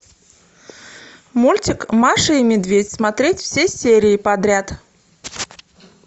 мультик маша и медведь смотреть все серии подряд